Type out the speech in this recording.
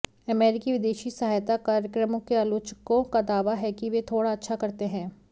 अमेरिकी विदेशी सहायता कार्यक्रमों के आलोचकों का दावा है कि वे थोड़ा अच्छा करते हैं